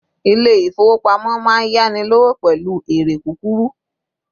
ilé ifowopamọ ma n yani lọwọ pẹlu eré kukuru